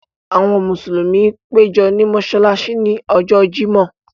Àwọn Musulumi pẹ̀jọ ní Mossalàssí ní Ọ̀jọ̀ Jímọ̀